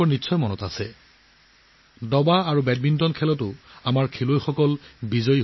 একে সময়তে দবা আৰু বেডমিণ্টনত আমাৰ খেলুৱৈসকলে এই গৌৰৱ আজুৰি আনিছে